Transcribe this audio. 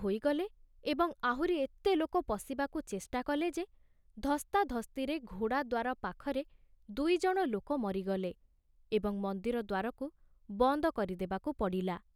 ହୋଇଗଲେ ଏବଂ ଆହୁରି ଏତେ ଲୋକ ପଶିବାକୁ ଚେଷ୍ଟା କଲେ ଯେ ଧସ୍ତାଧସ୍ତିରେ ଘୋଡ଼ାଦ୍ଵାର ପାଖରେ ଦୁଇଜଣ ଲୋକ ମରିଗଲେ ଏବଂ ମନ୍ଦିର ଦ୍ଵାରକୁ ବନ୍ଦ କରିଦେବାକୁ ପଡ଼ିଲା।